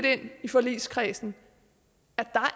at vi i forligskredsen